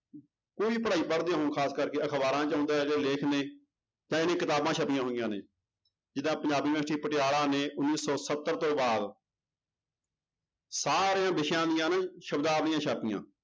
ਕੋਈ ਪੜ੍ਹਾਈ ਪੜ੍ਹਦੇ ਹੋ ਖ਼ਾਸ ਕਰਕੇ ਅਖ਼ਬਾਰਾਂ ਚ ਆਉਂਦਾ ਜਾਂ ਲੇਖ ਨੇ ਜਾਂ ਜਿਹੜੀਆਂ ਕਿਤਾਬਾਂ ਛਪੀਆਂ ਹੋਈਆਂ ਨੇ, ਜਿੱਦਾਂ ਪੰਜਾਬ university ਪਟਿਆਲਾ ਨੇ ਉੱਨੀ ਸੌ ਸੱਤਰ ਤੋਂ ਬਾਅਦ ਸਾਰੇ ਵਿਸ਼ਿਆਂ ਦੀਆਂ ਨਾ ਸ਼ਬਦਾਵਲੀਆਂ ਛਾਪੀਆਂ।